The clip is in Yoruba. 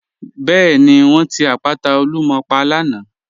Bẹẹni, wọn ti àpàtà Olúmọ̀ pà lànà.